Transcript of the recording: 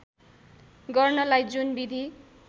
गर्नलाई जुन विधि